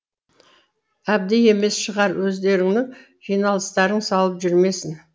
әбді емес шығар өздеріңнің жиналыстарың салып жүрмесін